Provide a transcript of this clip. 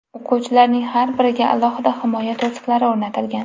O‘quvchilarning har biriga alohida himoya to‘siqlari o‘rnatilgan.